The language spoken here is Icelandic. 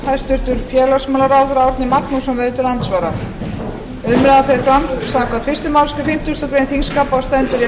hæstvirts félagsmálaráðherra árni magnússon verður til andsvara umræðan fer fram samkvæmt fyrstu málsgrein fimmtugustu grein þingskapa og stendur í